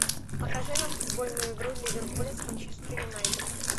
покажи нам футбольную игру ливерпуля с манчестер юнайтед